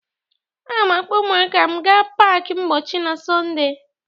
Aga m akpọ ụmụaka m ga pak mpọchi na Sọnde.